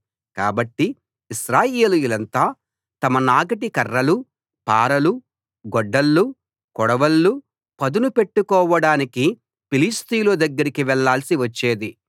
కాబట్టి ఇశ్రాయేలీయులంతా తమ నాగటి కర్రలు పారలు గొడ్డళ్ళు కొడవళ్ళు పదును పెట్టుకోవడానికి ఫిలిష్తీయుల దగ్గరికి వెళ్ళాల్సి వచ్చేది